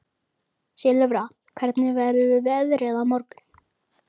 Þegar mörgæsinni hitnar streymir blóð í kirtlana og kælist þar niður.